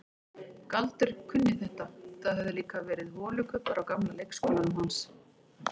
Galdur kunni þetta, það höfðu líka verið holukubbar á gamla leikskólanum hans.